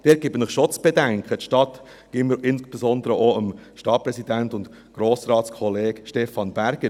Dort gebe ich Ihnen schon zu bedenken, insbesondere auch dem Stadtpräsidenten und Grossratskollegen Stefan Berger: